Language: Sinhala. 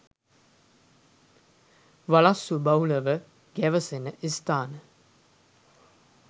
වලස්සු බහුලව ගැවසෙන ස්ථාන